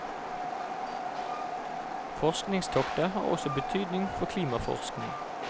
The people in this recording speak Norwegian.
Forskningstoktet har også betydning for klimaforskning.